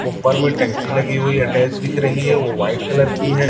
ऊपर में टंकी लगी हुई अटैच दिख रही है वो वाइट कलर की है।